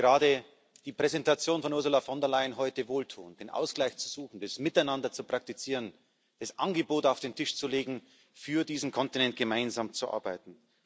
Deswegen ist gerade die Präsentation von Ursula von der Leyen heute wohltuend den Ausgleich zu suchen, das Miteinander zu praktizieren, das Angebot auf den Tisch zu legen, für diesen Kontinent gemeinsam zu arbeiten.